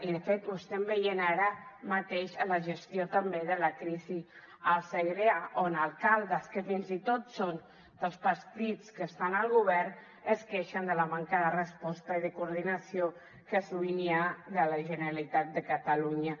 i de fet ho estem veient ara mateix en la gestió també de la crisi al segrià on alcaldes que fins i tot són dels partits que estan al govern es queixen de la manca de resposta i de coordinació que sovint hi ha de la generalitat de catalunya